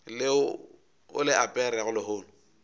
leo o le aperego lehono